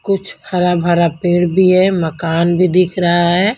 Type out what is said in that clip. कुछ हरा-भरा पेड़ भी है मकान भी दिख रहा है।